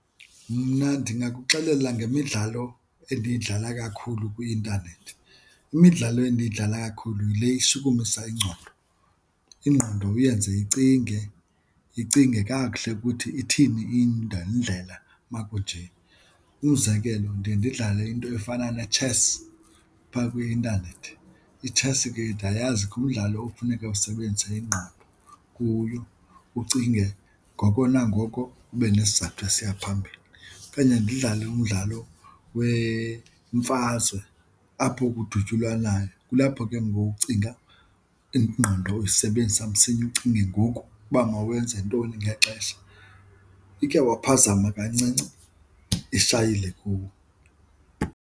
Mna ndingakuxelela ngemidlalo endiyidlala kakhulu kwi-intanethi, imidlalo endiyidlala kakhulu yile ishukumisa ingqondo, ingqondo uyenze icinge, icinge kakuhle ukuthi ithini indlela makuje. Umzekelo, ndiye ndidlale into efana ne-chess phaa kwi-intanethi. Itshesi ke ndiyazi ngumdlalo okufuneka usebenzise ingqondo kuyo ucinge ngoko nangoko ube nesizathu esiya phambili. Phinde ndidlale umdlalo wemfazwe apho kudutyulwanayo. Kulapho ke ngoku ucinga ingqondo uyisebenzisa msinya ucinge ngoku uba mawenze ntoni ngexesha, ikhe waphazama kancinci ishayile kuwe.